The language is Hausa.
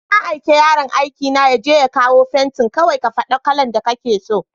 Na aiki yaron aikina yaje ya kawo fentin, kawai ka faɗa kalan da kake so.